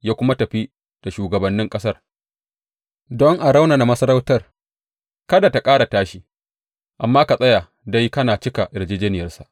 Ya kuma tafi da shugabannin ƙasar, don a raunana masarautar, kada tă ƙara tashi, amma ta tsaya dai kan cika yarjejjeniyarsa.